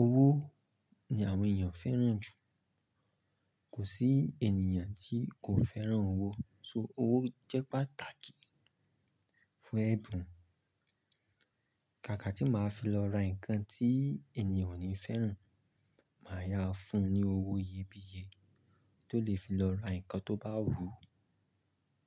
Owó ni àwọn ènìyàn fẹ́ràn jù. Kò sí ènìyàn tí kò fẹ́ràn owó, so owó jẹ́ pàtàkì fún ẹ̀bùn. Kàkà tí màá fi lọ ra nǹkan tí ènìyàn o ní fẹ́ràn, màá yá a fún un ní owó iyebíye tó lè fi lọ ra nǹkan tó bá wù ú.